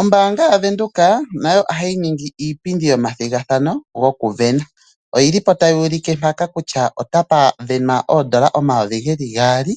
Ombaanga yaVenduka nayo ohayi ningi iipindi yo mathigathano goku vena. Oyili po tayi ulike mpaka kutya otapa venwa oondola omayovi geli gaali,